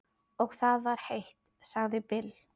Og það var heitt, sagði Bill.